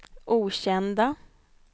okända